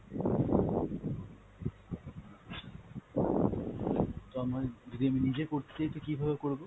তো আমায়, যদি আমি নিজে করতে চাই তো কীভাবে করব?